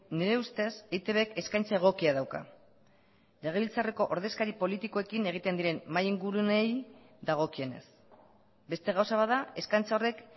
nire ustez eitbk eskaintza egokia dauka legebiltzarreko ordezkari politikoekin egiten diren mahai inguruneei dagokienez beste gauza bat da eskaintza horrek